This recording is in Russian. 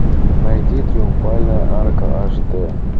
найди триумфальная арка аш дэ